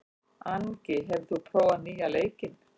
Angi, hefur þú prófað nýja leikinn?